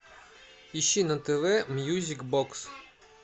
ищи на тв мьюзик бокс